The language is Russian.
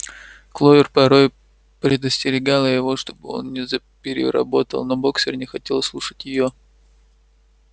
кловер порой предостерегала его чтобы он не запереработал но боксёр не хотел слушать её